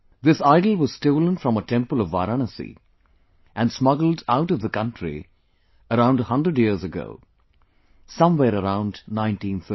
This idol was stolen from a temple of Varanasi and smuggled out of the country around 100 years ago somewhere around 1913